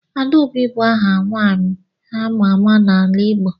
Adaobi bu aha nwanyi ama ama n'ala Igbo.